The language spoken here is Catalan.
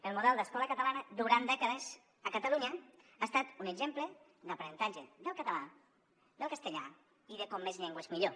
el model d’escola catalana durant dècades a catalunya ha estat un exemple d’aprenentatge del català del castellà i de com més llengües millor